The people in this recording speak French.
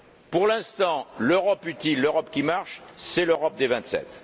Pour l'instant, l'Europe utile, l'Europe qui marche, c'est l'Europe des Vingt sept.